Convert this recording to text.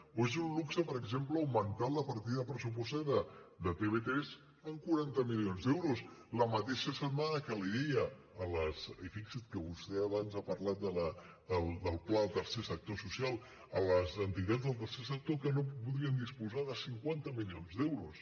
o és un luxe per exemple augmentar la partida pressupostària de tv3 en quaranta milions d’euros la mateixa setmana que deia i fixi’s que vostè abans ha parlat del pla del tercer sector social a les entitats del tercer sector que no podrien disposar de cinquanta milions d’euros